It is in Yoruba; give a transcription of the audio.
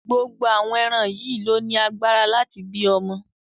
Gbogbo àwọn ẹran yìí ló ní agbára láti bí ọmọ.